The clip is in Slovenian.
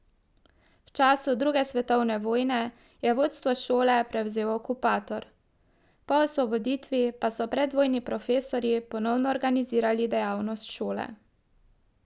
V času druge svetovne vojne je vodstvo šole prevzel okupator, po osvoboditvi pa so predvojni profesorji ponovno organizirali dejavnost šole.